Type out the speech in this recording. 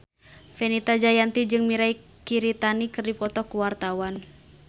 Fenita Jayanti jeung Mirei Kiritani keur dipoto ku wartawan